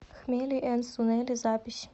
хмели энд сунели запись